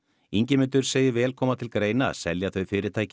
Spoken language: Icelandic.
Ingimundur segir vel koma til að greina að selja þau fyrirtæki